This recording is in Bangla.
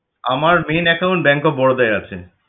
আমার main account Bank of Baroda য় আছে